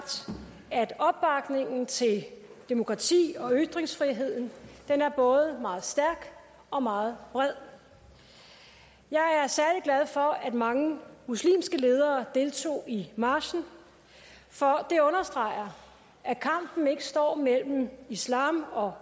at opbakningen til demokrati og ytringsfrihed er både meget stærk og meget bred jeg er særlig glad for at mange muslimske ledere deltog i marchen for det understreger at kampen ikke står mellem islam og